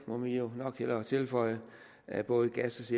må man jo nok hellere tilføje af både gas